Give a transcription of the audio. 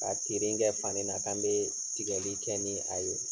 Ka tiirin kɛ fani na k'an bee tigɛli kɛ nii a ye